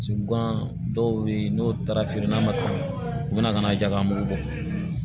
Gan dɔw bɛ ye n'o taara feere n'a ma san u bɛna kana ja ka mugu bɔ